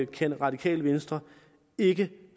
kan radikale venstre ikke